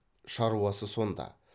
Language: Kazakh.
шаруасы сонда